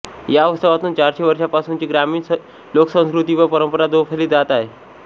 या उत्सवातून चारशे वर्षांपासूनची ग्रामीण लोकसंस्कृती व परंपरा जोपासली जात आहे